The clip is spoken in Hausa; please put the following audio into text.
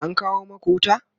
an kawo maku wuta?